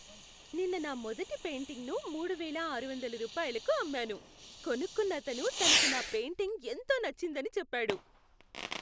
నిన్న నా మొదటి పెయింటింగ్ని మూడు వేల ఆరువందల రూపాయిలకి అమ్మాను. కొనుక్కున్నతను తనకు నా పెయింటింగ్ ఎంతో నచ్చిందని చెప్పాడు!